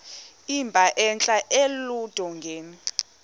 emba entla eludongeni